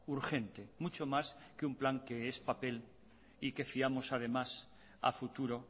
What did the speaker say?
urgente mucho más que un plan que es papel y que fiamos además a futuro